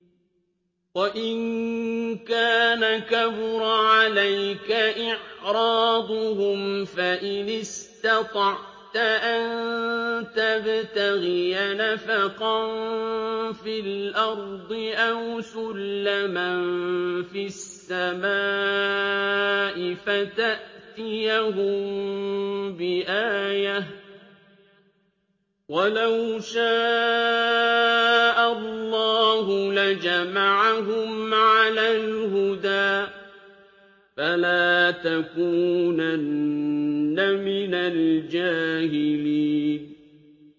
وَإِن كَانَ كَبُرَ عَلَيْكَ إِعْرَاضُهُمْ فَإِنِ اسْتَطَعْتَ أَن تَبْتَغِيَ نَفَقًا فِي الْأَرْضِ أَوْ سُلَّمًا فِي السَّمَاءِ فَتَأْتِيَهُم بِآيَةٍ ۚ وَلَوْ شَاءَ اللَّهُ لَجَمَعَهُمْ عَلَى الْهُدَىٰ ۚ فَلَا تَكُونَنَّ مِنَ الْجَاهِلِينَ